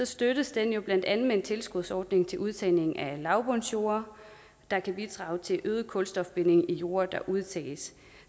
støttes det jo blandt andet med en tilskudsordning til udtagning af lavbundsjorde der kan bidrage til øget kulstofbinding i de jorde der udtages